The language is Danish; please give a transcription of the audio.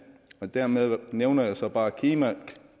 dermed nævner jeg så bare kina